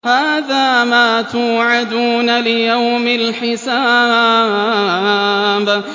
هَٰذَا مَا تُوعَدُونَ لِيَوْمِ الْحِسَابِ